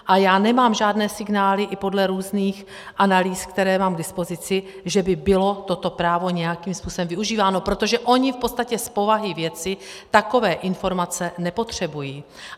A já nemám žádné signály i podle různých analýz, které mám k dispozici, že by bylo toto právo nějakým způsobem využíváno, protože oni v podstatě z povahy věci takové informace nepotřebují.